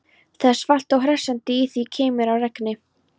Það er svalt og hressandi, í því keimur af regni.